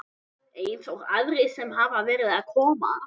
Eins og aðrir sem hafa verið að koma?